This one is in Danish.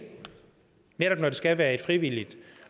netop skal være frivilligt